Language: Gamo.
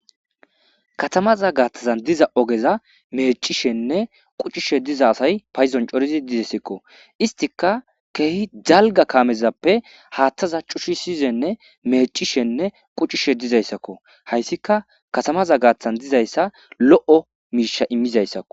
katamaza gaaththazan diza ogeza mecishenne qucishe diza asay payzon corizi didesekko istika keehi dzalga kaamezappe haaththaza cuchisiyzenne mecishenne quccishe dizayssakko hayssika katamaza gaaththan dizayssa lo'o miisha immizayssakko